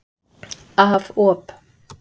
Af op.